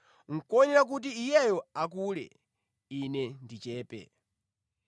Nʼkoyenera kuti Iyeyo akule, ine ndichepe.